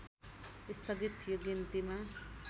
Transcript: स्थगित थियो गिन्तीमा